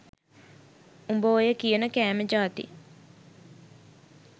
උඹ ඔය කියන කෑම ජාති